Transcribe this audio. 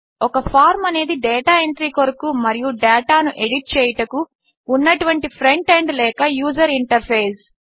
ఒక ఫార్మ్ అనేది data entry కొరకు మరియు డేటాను ఎడిట్ చేయుటకు ఉన్నటువంటి ఫ్రంట్ ఎండ్ లేక యూజర్ ఇంటర్ఫేస్